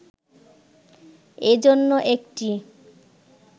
এজন্য একটি